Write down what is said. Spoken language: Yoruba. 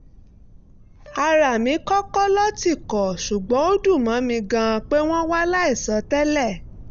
ara mi kọ́kọ́ lọ́ tìkọ̀ ṣùgbọ́n ó dùn mọ́ mi gan-an pé wọ́n wá láìsọ tẹ́lẹ̀